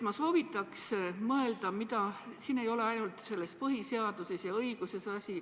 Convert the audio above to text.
Ma soovitaks mõelda, et siin ei ole asi ainult põhiseaduses ja õiguses.